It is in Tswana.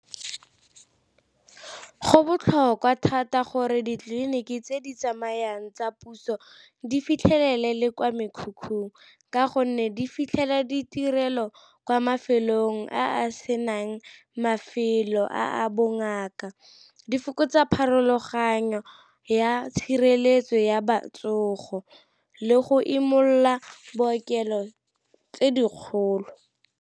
Go botlhokwa thata gore ditleliniki tse di tsamayang tsa puso di fitlhelele le kwa mekhukhung, ka gonne di fitlhele ditirelo kwa mafelong a a senang mafelo a bongaka, di fokotsa pharologanyo ya tshireletso ya le go imolola bookelo tse dikgolo.